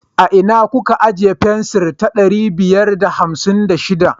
A ina kuka ijiye fensir ta ɗari biyar da hamsin da shiɗa?